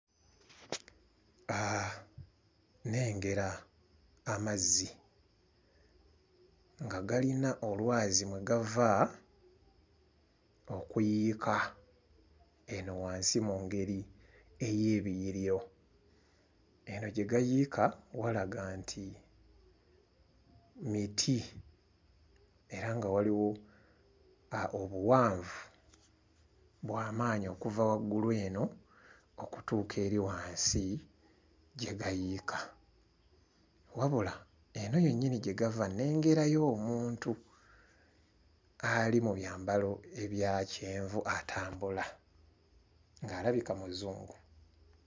Nnengera amazzi nga galina olwazi mwe gava okuyiika eno wansi mu ngeri ey'ebiyiriro. Eno gye gayiika walaga nti miti era nga waliwo obuwanvu bwa maanyi okuva waggulu eno okutuuka eri wansi gye gayiika. Wabula, eno yennyini gye gava nnengerayo omuntu ali mu byambalo ebya kyenvu atambula ng'alabika Muzungu.